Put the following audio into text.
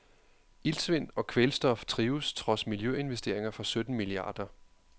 Iltsvind og kvælstof trives trods miljøinvesteringer for sytten milliarder.